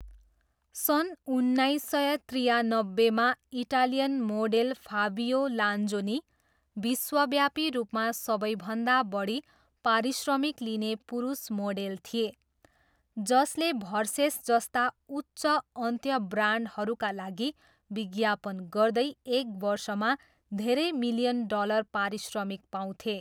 सन् उन्नाइस सय त्रियानब्बेमा, इटालियन मोडेल फाबियो लान्जोनी, विश्वव्यापी रूपमा सबैभन्दा बढी पारिश्रमिक लिने पुरुष मोडेल थिए, जसले भर्सेस जस्ता उच्च अन्त्य ब्रान्डहरूका लागि विज्ञापन गर्दै एक वर्षमा धेरै मिलियन डलर पारिश्रमिक पाउँथे।